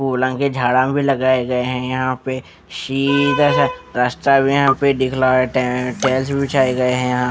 फुलांके के झाड़ा भी लगाए गए हैं यहाँ पे शीधा रास्ता भी यहाँ पे दिख रहा है टै टाइल्स भी बिछाए गए हैं.यहाँ